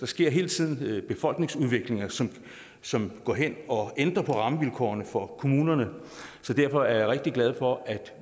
sker hele tiden en befolkningsudvikling som som går ind og ændrer rammevilkårene for kommunerne derfor er jeg rigtig glad for at